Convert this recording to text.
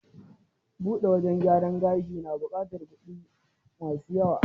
Buɗe wajen gyaran gashi na buƙatar kuɗi ma su yawa.